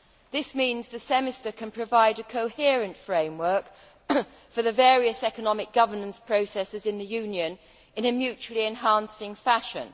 This means that the Semester can provide a coherent framework for the various economic governance processes in the Union in a mutually enhancing fashion.